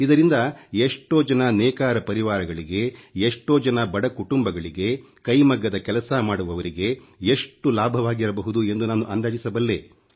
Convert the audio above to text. ಇದರಿಂದ ಎಷ್ಟೋ ಜನ ನೇಕಾರ ಪರಿವಾರಗಳಿಗೆ ಎಷ್ಟೋ ಜನ ಬಡ ಕುಟುಂಬಗಳಿಗೆ ಕೈಮಗ್ಗದ ಕೆಲಸ ಮಾಡುವವರಿಗೆ ಎಷ್ಟು ಲಾಭವಾಗಿರಬಹುದು ಎಂದು ನಾನು ಅಂದಾಜಿಸಬಲ್ಲೆ